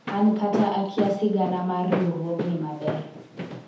an kata akia sigana mar riwruognni maber